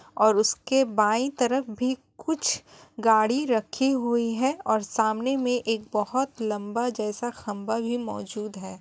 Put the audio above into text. और उसके बाईं तरफ भी कुछ गाड़ी रखी हुई है और सामने मे एक बहुत लंबा जैसा खंभा भी मौजूद है।